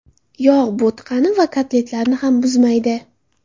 Yog‘ bo‘tqani va kotletlarni ham buzmaydi.